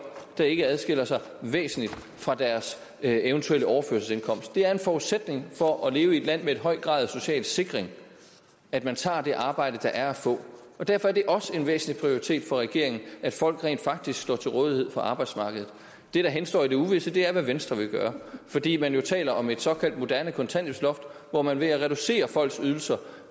der ikke lønmæssigt adskiller sig væsentligt fra deres eventuelle overførselsindkomst det er en forudsætning for at leve i et land med en høj grad af social sikring at man tager det arbejde der er at få og derfor er det også en væsentlig prioritet for regeringen at folk rent faktisk står til rådighed for arbejdsmarkedet det der henstår i det uvisse er hvad venstre vil gøre fordi man jo taler om et såkaldt moderne kontanthjælpsloft hvor man ved at reducere folks ydelser